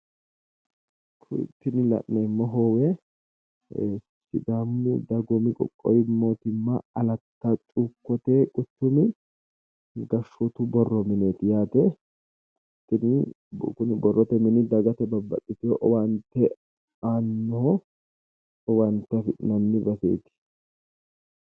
Tini la'neemmo hoowe sidaamu dagoomu qowwowu mootimma alatta cuukkote wuchumi gashshootu borro mineeti yaate, kuni borrote mini dagate babbaxxitino owaate aannoho, owaate afi'nanni baseeti.